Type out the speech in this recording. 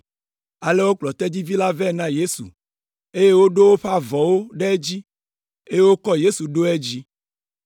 Ale wokplɔ tedzivi la vɛ na Yesu, eye woɖo woƒe avɔwo ɖe edzi eye wokɔ Yesu ɖo edzi.